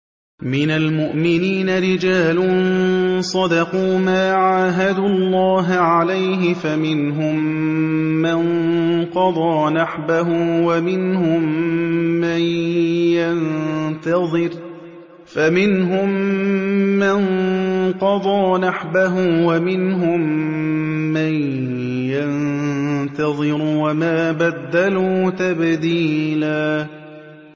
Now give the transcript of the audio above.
مِّنَ الْمُؤْمِنِينَ رِجَالٌ صَدَقُوا مَا عَاهَدُوا اللَّهَ عَلَيْهِ ۖ فَمِنْهُم مَّن قَضَىٰ نَحْبَهُ وَمِنْهُم مَّن يَنتَظِرُ ۖ وَمَا بَدَّلُوا تَبْدِيلًا